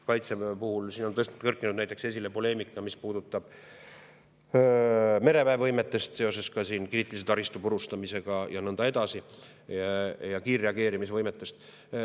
Kaitseväe puhul on kerkinud näiteks esile poleemika, mis puudutab mereväe võimet seoses kriitilise taristu purustamisega ja nõnda edasi, samuti kiirreageerimisvõimet.